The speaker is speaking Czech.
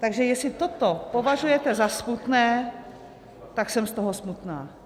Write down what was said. Takže jestli toto považujete za smutné, tak jsem z toho smutná.